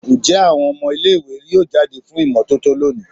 Njẹ awọn ọmọ ile-iwe yoo jade fun imototo loni?